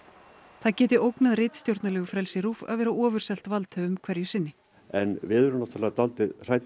það geti ógnað frelsi RÚV að vera ofurselt valdhöfum hverju sinni en við erum dálítið hrædd